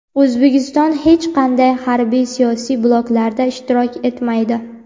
O‘zbekiston hech qanday harbiy-siyosiy bloklarda ishtirok etmaydi.